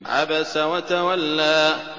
عَبَسَ وَتَوَلَّىٰ